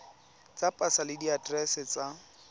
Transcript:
tsa pasa le diaterese tsa